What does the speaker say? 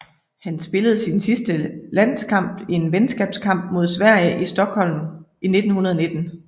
Han spillede sin sidste landskamp i en venskabskamp mod Sverige i Stockholm i 1919